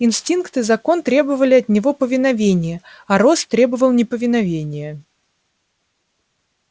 инстинкт и закон требовали от него повиновения а рост требовал неповиновения